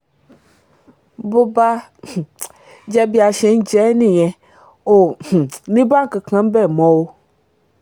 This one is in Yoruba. bó bá um jẹ́ bí a ṣe ń jẹ ẹ́ nìyẹn o ò um ní bá nǹkan kan níbẹ̀ mọ́ o